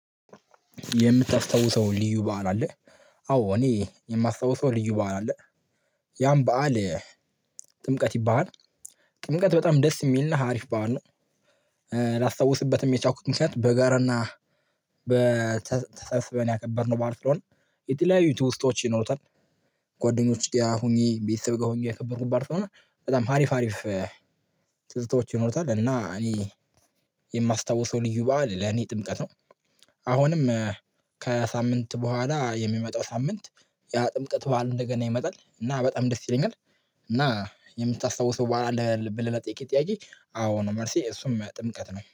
የምታስታውሰው ልዩ በዓል አለ። አዎ እኔ የማስታውሰው ልዩ በዓል አለ። ያን በዓል ጥምቀት ይባላል። ጥምቀት በጣም ደስ የሚልና አሪፍ በዓል ነው። ላስታውስበትም የቻልኩበት ምክንያት በጋራና በተሰስበን ያከበርነው ባዓል ስለሆነ የተለያዩ ትዉስቶች ይኖሩታል። ጓደኞች ጋር ሁኚ ቤተሰብ ጋር ሆኜ ያከበርኩት በዓል ስለሆነ ሀሪፍ ሀሪፍ ትዝታወች ይኖሩታል። እና እኔ የማስታውሰው ልዩ በዓል ለኔ ጥምቀት ነው። አሁንም ከሳምንት በኋላ የሚመጣው ሳምንት ያ ጥምቀት ባሉ እንደገና ይመጣል እና በጣም ደስ ይለኛል። እና የምታስታውሰው በኋላ ለሌላ ጥያቄ አዎ ነው መልሴ እሱም ጥምቀት ነው